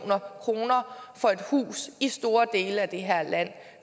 kroner for et hus i store dele af det her land